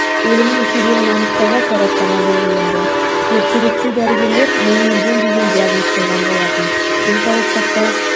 өлімінің себебін анықтауға сараптама белгіленді ертеректе дәрігерлер миы өлген деген диагноз қойған болатын денсаулық сақтау